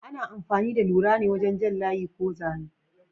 Ana amfani da lura ne wajen jan layi ko zane.